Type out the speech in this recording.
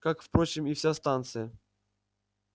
как впрочем и вся станция